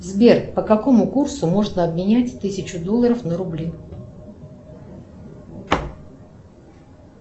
сбер по какому курсу можно обменять тысячу долларов на рубли